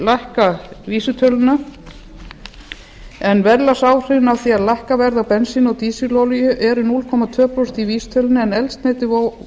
lækka vísitöluna en verðlagsáhrifin af því að lækka verð á bensíni og dísilolíu eru núll komma tvö prósent í vísitölunni en eldsneytið